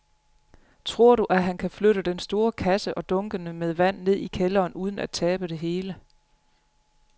Tror du, at han kan flytte den store kasse og dunkene med vand ned i kælderen uden at tabe det hele?